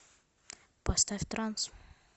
поставь транс